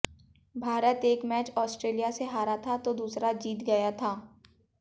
भारत एक match Australia से हारा था तो दूसरा जीत गया था